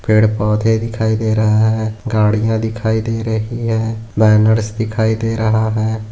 पड़े पौधे दिखाई दे रहा है। गाडिया दिखाई दे रही है। बैनर्स दिखाई दे रहा है।